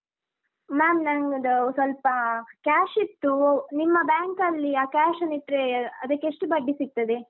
Ma’am ನಂದು ಸ್ವಲ್ಪ cash ಇತ್ತು, ನಿಮ್ಮ bank ಅಲ್ಲಿ ಆ cash ಅನ್ನಿಟ್ರೆ ಅದಕ್ಕೆ ಎಷ್ಟು ಬಡ್ಡಿ ಸಿಗ್ತದೆ?